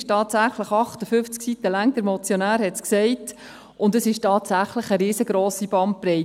sie umfasst 58 Seiten, der Motionär hat es gesagt, und sie umfasst tatsächlich eine riesengrosse Bandbreite.